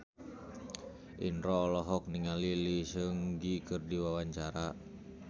Indro olohok ningali Lee Seung Gi keur diwawancara